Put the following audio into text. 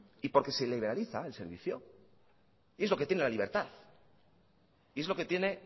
y porque se liberaliza el servicio y es lo que tiene la libertad y es lo que tiene